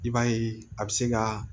I b'a ye a bɛ se ka